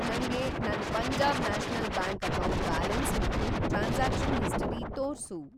ನಂಗೆ ನನ್‌ Punjab national bank account balance ಮತ್ತು ಟ್ರಾನ್ಸಾಕ್ಷನ್ ಹಿಸ್ಟರಿ ತೋರ್ಸು.